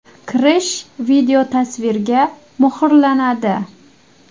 Kirish videotasvirga muhrlanadi.